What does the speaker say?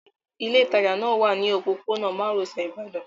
Ilé ìtajà náà wà ní òpópónà márosẹ̀ Ibadan